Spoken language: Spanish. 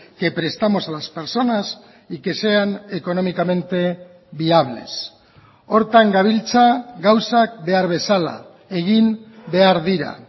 que prestamos a las personas y que sean económicamente viables horretan gabiltza gauzak behar bezala egin behar dira